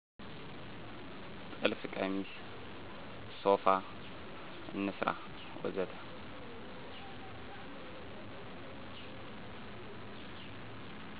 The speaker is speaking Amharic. ጥልፍ ቀሚስ፣ ሶፋ፣ እንስራ ወዘተ